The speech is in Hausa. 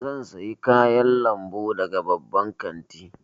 Zan sayi kayan lambu daga babban kanti.